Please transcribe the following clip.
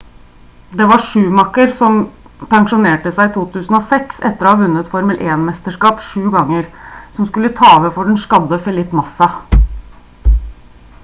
det var schumacher som pensjonerte seg i 2006 etter å ha vunnet formel 1-mesterskap sju ganger som skulle ta over for den skadde felipe massa